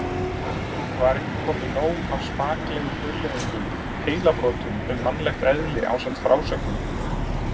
Var ekki komið nóg af spaklegum hugleiðingum, heilabrotum um mannlegt eðli ásamt frásögnum